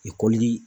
Ekɔli